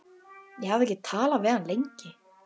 Ég hafði ekki talað við hann lengi.